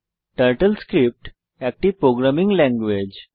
turtle script একটি programming language